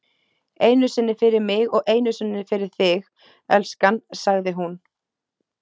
Einu sinni fyrir mig og einu sinni fyrir þig, elskan, sagði hún.